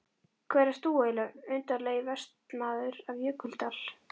Hver ert þú eiginlega, undarlegi vestanmaður af Jökuldal?